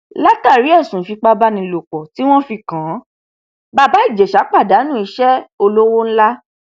látàrí ẹsùn ìfipábánilòpọ tí wọn fi kàn án bàbá ìjèṣà pàdánù iṣẹ olówó ńlá